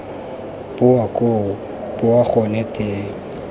boa koo boa gone teng